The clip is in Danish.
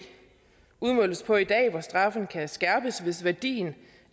udmåles på i dag hvor straffen kan skærpes hvis værdien